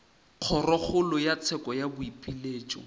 kgorokgolo ya tsheko ya boipiletšo